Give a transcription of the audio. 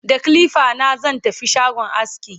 da kilifa na zan tafi shagon aski